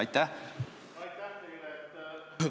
Aitäh teile!